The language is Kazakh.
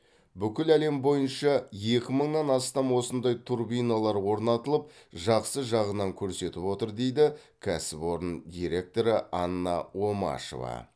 бүкіл әлем бойынша екі мыңнан астам осындай турбиналар орнатылып жақсы жағынан көрсетіп отыр дейді кәсіпорын директоры анна омашева